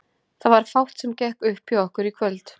Það var fátt sem gekk upp hjá okkur í kvöld.